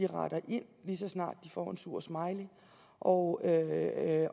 retter ind lige så snart de får en sur smiley og